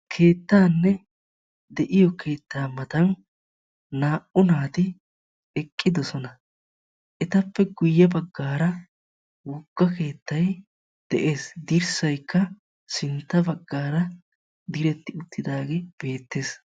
Keettanne de'iyo keetta matan naa'u naatti eqqiddosonna. Etta matan miyiya wogga keettay de'ees. Etta matan dirssay de'ees.